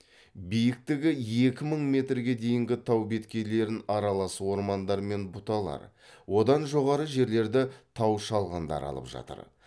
биіктігі екі мың метрге дейінгі тау беткейлерін аралас ормандар мен бұталар одан жоғары жерлерді тау шалғындары алып жатыр